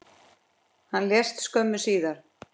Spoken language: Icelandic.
Hann lést skömmu síðar.